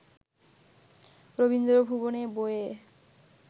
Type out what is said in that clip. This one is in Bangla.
রবীন্দ্র ভুবনে বইয়ে